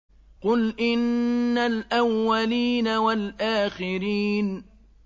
قُلْ إِنَّ الْأَوَّلِينَ وَالْآخِرِينَ